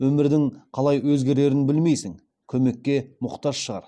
өмірдің қалай өзгерерін білмейсің көмекке мұқтаж шығар